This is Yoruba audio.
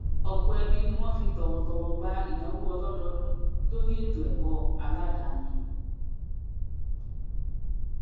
ọpọ ẹbí ni wọn fi tọwọtọwọ gba ìnáwó ọlọdọọdún lórí ètòẹkọ aladáni